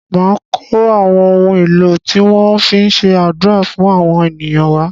Màá kó àwọn ohun èlò tí wọn á fi se àdúà fún àwọn ènìyàn wá.